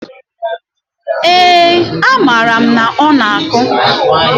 ee, amaara m na ọ na-akụ.